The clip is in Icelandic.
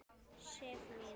Sif mín!